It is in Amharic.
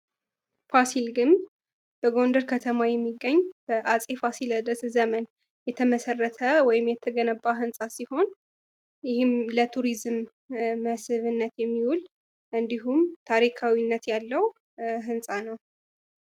ፋሲል ግንብ በጎንደር ከተማ የሚገኝ በአፄ ፋሲለደስ ዘመን የተመሰረተ ወይም የተገነባ ህንፃ ሲሆን ይህም ለቱሪዝም መስህብነት የሚዉል እንዲሁም ታሪካዊነት ያለዉ ህንፃ ነዉ።